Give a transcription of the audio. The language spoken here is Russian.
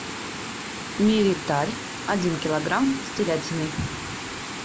мириталь один килограмм с телятиной